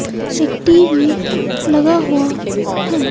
एक टी_वी लगा हुआ है।